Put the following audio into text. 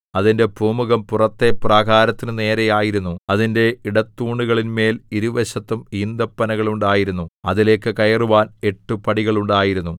അതിന്റെ പൂമുഖം പുറത്തെ പ്രാകാരത്തിനു നേരെ ആയിരുന്നു അതിന്റെ ഇടത്തൂണുകളിന്മേൽ ഇരുവശത്തും ഈന്തപ്പനകൾ ഉണ്ടായിരുന്നു അതിലേക്ക് കയറുവാൻ എട്ട് പടികൾ ഉണ്ടായിരുന്നു